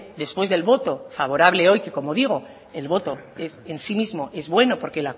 después del voto favorable hoy que como digo el voto en sí mismo es bueno porque